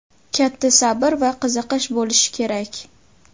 katta sabr va qiziqish bo‘lishi kerak.